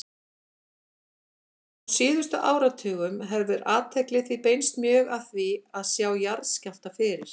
Á síðustu áratugum hefur athygli því beinst mjög að því að sjá jarðskjálfta fyrir.